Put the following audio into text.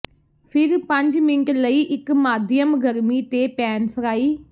ਫਿਰ ਪੰਜ ਮਿੰਟ ਲਈ ਇੱਕ ਮਾਧਿਅਮ ਗਰਮੀ ਤੇ ਪੈਨ ਫਰਾਈ